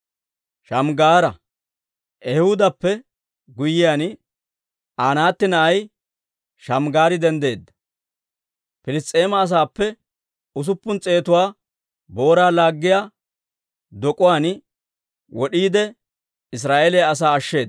Ehuudappe guyyiyaan, Anaata na'ay Shamggaari denddeedda; Piliss's'eema asaappe usuppun s'eetuwaa booraa laaggiyaa dok'uwaan wod'iide, Israa'eeliyaa asaa ashsheeda.